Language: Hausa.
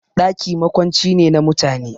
Ɗaki makwanci ne na mutane